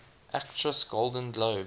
actress golden globe